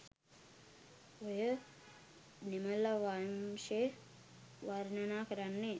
ඔය දෙමළවම්ශෙ වර්ණනා කරන්නෙ